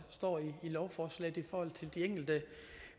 står i lovforslaget i forhold til de enkelte